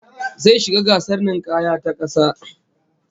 Zai shiga gasar ninkaya ta kasa